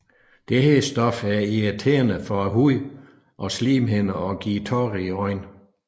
Dette stof er irriterende for hud og slimhinder og giver tårer i øjnene